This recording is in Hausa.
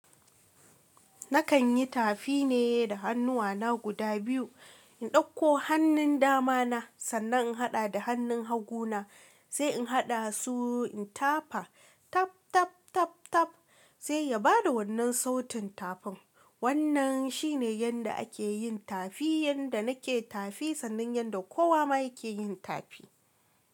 Nakan yi tafi ne da hannuwana guda biyu, in ɗauko hannun dama na sannan in haɗa da hannun hagu na sai in haɗa su in tafa tap, tap, tap, tap sai ya bada wannan sautin tafin. Wannan shi ne yanda ake yin tafi, yanda nake tafi sannan yanda kowa ma yake yin tafi.